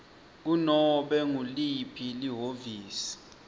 kunobe nguliphi lihhovisi